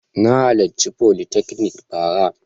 Na halarci folytechnic bara.